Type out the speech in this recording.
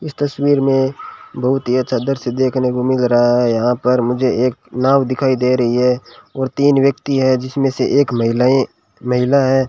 इस तस्वीर में बहुत ही अच्छा दृश्य देखने को मिल रहा है यहां पर मुझे एक नाव दिखाई दे रही है और तीन व्यक्ति हैं जिसमें से एक महिलाएं महिला है।